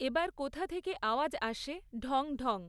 এবার কোথা থেকে আওয়াজ আসে ঢংঢং!